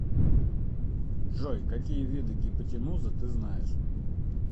джой какие виды гипотенуза ты знаешь